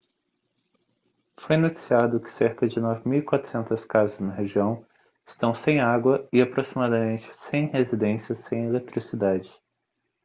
foi noticiado que cerca de 9.400 casas na região estão sem água e aproximadamente 100 residências sem eletricidade